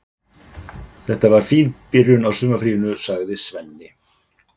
Þetta var fín byrjun á sumarfríinu, sagði Svenni.